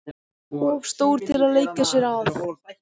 Of stór til að leika sér að.